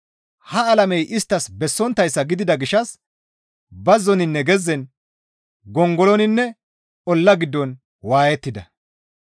Ha alamey isttas bessonttayssa gidida gishshas bazzoninne gezzen gongoloninne olla giddon waayettida.